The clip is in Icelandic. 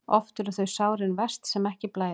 Oft eru þau sárin verst sem ekki blæða.